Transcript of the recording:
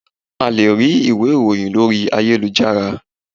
A lè rí ìwé ìròhìn lórí ayélujára.